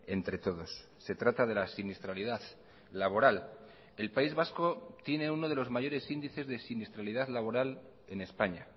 entre todos se trata de la siniestralidad laboral el país vasco tiene uno de los mayores índices de siniestralidad laboral en españa